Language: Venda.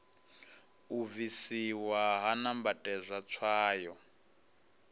u bvisiwa ha nambatedzwa tswayo